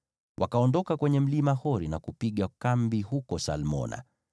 Wakaondoka kwenye mlima Hori na kupiga kambi huko Salmona.